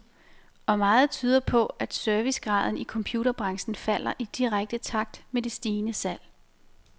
Og meget tyder på, at servicegraden i computerbranchen falder i direkte takt med det stigende salg.